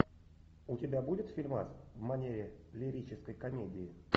у тебя будет фильмас в манере лирической комедии